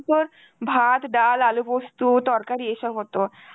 তোর ভাত, ডাল, আলু পোস্ত, তরকারি এসব হত.